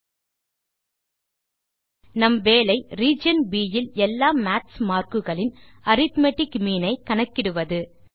000051 000176 நம் வேலை ரீஜியன் ப் இல் எல்லா மாத்ஸ் மார்க் குகளின் அரித்மெட்டிக் மீன் ஐ கணக்கிடுவது